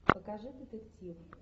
покажи детектив